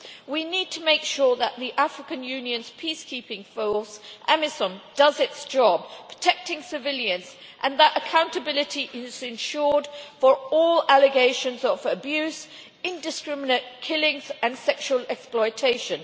We need to make sure that the African Union's peacekeeping force AMISOM does its job protecting civilians and that accountability is insured for all allegations of abuse, indiscriminate killings and sexual exploitation.